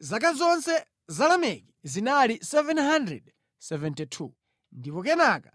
Zaka zonse za Lameki zinali 777, ndipo kenaka